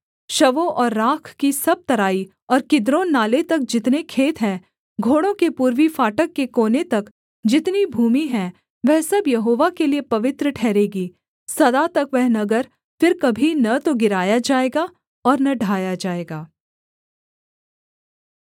शवों और राख की सब तराई और किद्रोन नाले तक जितने खेत हैं घोड़ों के पूर्वी फाटक के कोने तक जितनी भूमि है वह सब यहोवा के लिये पवित्र ठहरेगी सदा तक वह नगर फिर कभी न तो गिराया जाएगा और न ढाया जाएगा